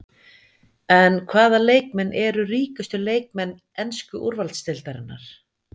En hvaða leikmenn eru ríkustu leikmenn ensku úrvalsdeildarinnar?